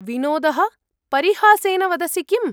विनोदः? परिहासेन वदसि किम्?